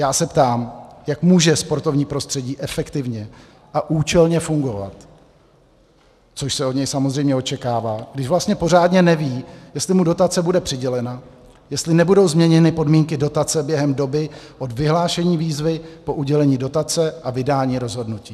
Já se ptám, jak může sportovní prostředí efektivně a účelně fungovat, což se od něj samozřejmě očekává, když vlastně pořádně neví, jestli mu dotace bude přidělena, jestli nebudou změněny podmínky dotace během doby od vyhlášení výzvy po udělení dotace a vydání rozhodnutí.